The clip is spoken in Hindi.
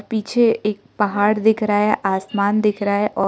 पीछे एक पहाड़ दिख रहा है आसमान दिख रहा है औ--